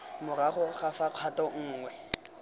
morago ga fa kgato nngwe